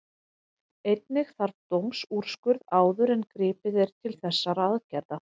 Einnig þarf dómsúrskurð áður en gripið er til þessara aðgerða.